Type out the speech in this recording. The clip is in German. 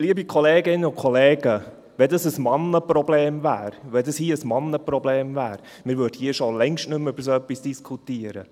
Liebe Kolleginnen und Kollegen, wenn das ein Männerproblem wäre, würde man hier schon längst nicht mehr über so etwas diskutieren.